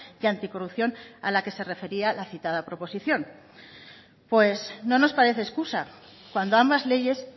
y anticorrupción a la que se refería la citada proposición pues no nos parece excusa cuando ambas leyes